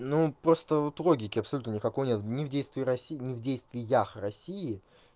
ну просто вот логики абсолютно никакой нет ни в действии россии ни в действиях россии